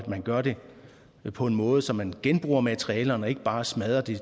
man gør det på en måde så man genbruger materialerne og ikke bare smadrer det